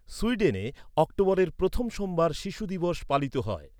সুইডেনে, অক্টোবরের প্রথম সোমবার শিশু দিবস পালিত হয়।